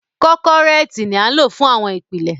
Kọ́kọ́rẹ́ẹ̀tì ni a lò fún àwọn ìpìlẹ̀.